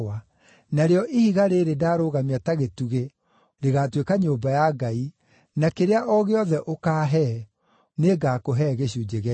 narĩo ihiga rĩĩrĩ ndaarũgamia ta gĩtugĩ rĩgaatuĩka nyũmba ya Ngai, na kĩrĩa o gĩothe ũkaahe, nĩngakũhe gĩcunjĩ gĩa ikũmi.”